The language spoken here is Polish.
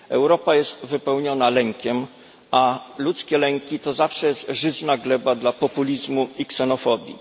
Europa jest wypełniona lękiem a ludzkie lęki to zawsze jest żyzna gleba dla populizmu i ksenofobii.